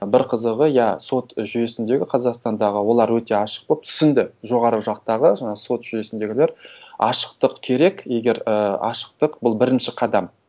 бір қызығы иә сот жүйесіндегі қазақстандағы олар өте ашық болып түсінді жоғары жақтағы жаңа сот жүйесіндегілер ашықтық керек егер і ашықтық бұл бірінші қадам